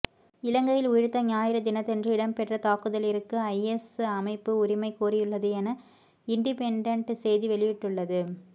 இலங்கையில் உயிர்த்த ஞாயிறு தினத்தன்று இடம்பெற்ற தாக்குதலிற்கு ஐஎஸ் அமைப்பு உரிமை கோரியுள்ளது என இன்டிபென்டன்ட் செய்தி வெளியிட்டுள்ளது